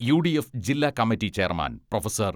UDF ജില്ലാ committee chairman professor.